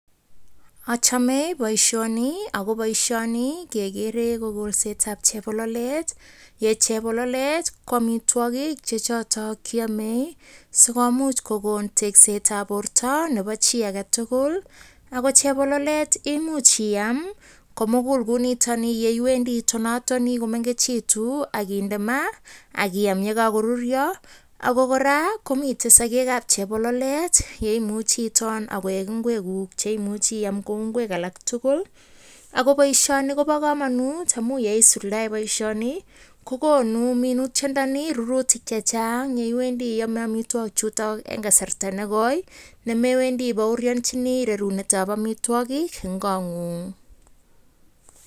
Achame boishoni, ako boishoni gegere ko kolsetab chebololet ye chebololet ko amitwakik che chotok kiamei sikomuch kokon teksetab borto nebo chi age tugul. Ako chebololet imuch iam komugul ku nitokni, iwendi itonatoni komengechitu aginde ma akiam ye kako ruryo. Ako kora komitei sokek ab chebololet ye imuche iton akoek ingwek guk akiam kou ingwek alak tugul. Ako boishoni koba kamanut amu yeisuldae boishoni kokonu minutyadani rurutik chechang yeiwendi iame amitwakik chutok, eng kasarta ne koi ne mewendi i baoryanjini rarunet ab amitwagik eng kot nyun'g.